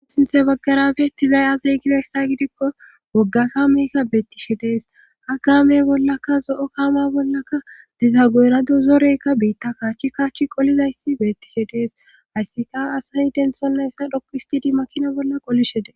sinthe baggarabeettizay azey gizyssa gidikko wogga ka meyka bettishe de'es ha kaamey bollaka zo7o kaama bollaka diza goerado zoreykka biitta kaachchi kaachi qolizayssi beettishe dees hayssika asayi denshonna essa dhoqu istidi makina bolla qolishe dee